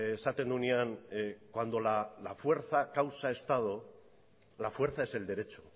esaten duenean cuando la fuerza causa estado la fuerza es el derecho